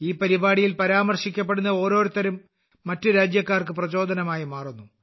ഈ പരിപാടിയിൽ പരാമർശിക്കപ്പെടുന്ന ഓരോരുത്തരും മറ്റ് രാജ്യക്കാർക്ക് പ്രചോദനമായി മാറുന്നു